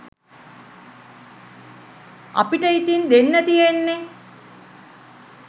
අපිට ඉතින් දෙන්න තියෙන්නෙ